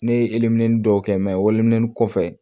Ne ye dɔw kɛ wmin kɔfɛ